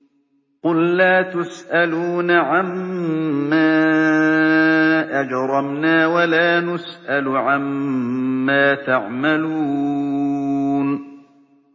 قُل لَّا تُسْأَلُونَ عَمَّا أَجْرَمْنَا وَلَا نُسْأَلُ عَمَّا تَعْمَلُونَ